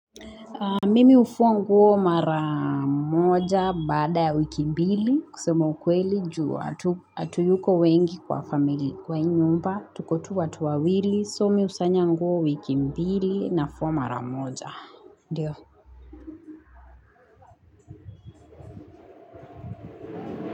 Mimi hufua nguo mara moja baada ya wiki mbili kusema ukweli juu hatuyuko wengi kwa family kwa hii nyumba tuko tu watu wawili so mi husanya nguo wiki mbili, nafua mara moja, ndio.